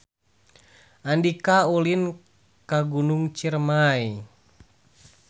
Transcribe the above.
Andika ulin ka Gunung Ciremay